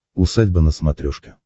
усадьба на смотрешке